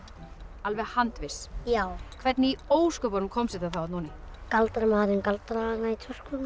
alveg handviss já hvernig í ósköpunum komst þetta þá þarna oní galdramaðurinn galdraði hana í töskuna